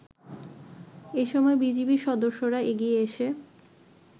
এসময় বিজিবির সদস্যরা এগিয়ে এসে